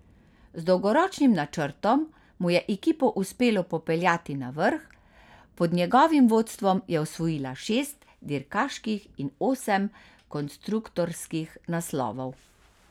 Z dolgoročnim načrtom mu je ekipo uspelo popeljati na vrh, pod njegovim vodstvom je osvojila šest dirkaških in osem konstruktorskih naslovov.